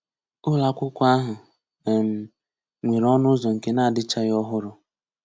Ụlọ akwụkwọ ahụ um nwere ọnụ ụzọ nke na-adịchaghị ọhụrụ.